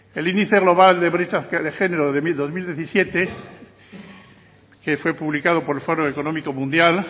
el índice global de brecha de género de dos mil diecisiete que fue publicado por el foro económico mundial